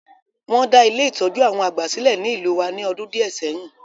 Won da Ile-itọju àwon àgbà silẹ̀ ni ìlú wa ni ọdún díẹ̀ sẹyin.